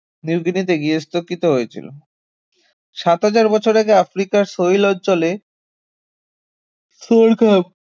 new গিনিতে গার্হস্থ্যকৃত হয়েছিল সাত হাজার বছর আগে আফ্রিকার সহিল অঞ্চলে সোরঘাম